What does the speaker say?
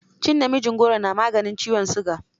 Cin namijin goro na maganin ciwon siga.